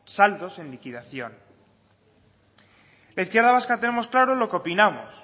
saldos en liquidación la izquierda vasca tenemos claro lo que opinamos